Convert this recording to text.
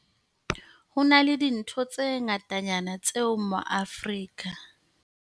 Ho na le dintho tse ngatanyana tseo ma-Aforika.